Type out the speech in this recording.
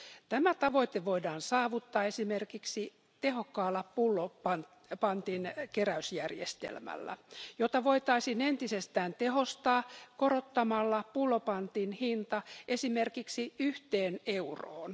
Tämä tavoite voidaan saavuttaa esimerkiksi tehokkaalla panttiin perustuvalla pullonkeräysjärjestelmällä, jota voitaisiin entisestään tehostaa korottamalla pullopantin hinta esimerkiksi yhteen euroon.